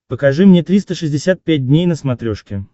покажи мне триста шестьдесят пять дней на смотрешке